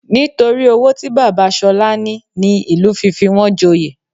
Nítorí owó tí bàbá Ṣọlá ní ní ìlú fi fi wọn joyè